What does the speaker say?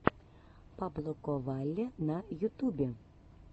паблоковалли на ютубе